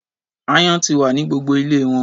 Aáyán ti wà ní gbogbo ilé wọn.